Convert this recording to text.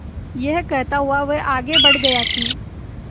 यह कहता हुआ वह आगे बढ़ गया कि